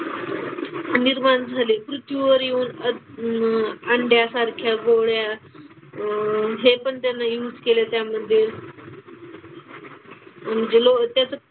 निर्माण झाली. पृथ्वीवर येऊन अह अंड्यासारख्या गोळ्या अह हे पण त्यानं use केलं त्यामध्ये. अन गेलो त्याचं,